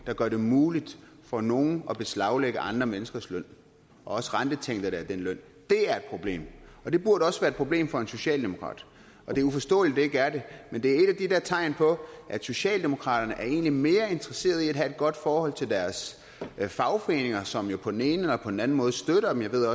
der gør det muligt for nogen at beslaglægge andre menneskers løn også renteindtægterne af den løn det er et problem det burde også være et problem for en socialdemokrat og det er uforståeligt at det ikke er det men det er et af tegn på at socialdemokraterne egentlig er mere interesseret i at have et godt forhold til deres fagforeninger som jo på den ene eller den anden måde støtter dem jeg ved at